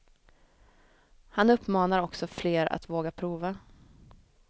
Han uppmanar också fler att våga prova.